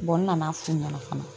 n nan'a f'u ɲɛna fana